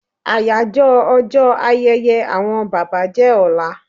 Àyájọ́ ọjọ́ ayẹyẹ àwọn bàbá jẹ́ ọlá